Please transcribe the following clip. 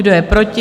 Kdo je proti?